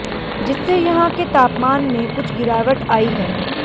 जिससे यहां के तापमान में कुछ गिरावट आई है